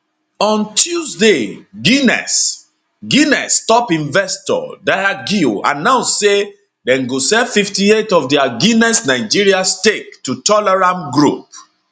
on tuesday guinness guinness top investor diageo announce say dem go sell 58 of dia guinness nigeria stake to tolaram group